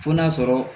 Fo n'a sɔrɔ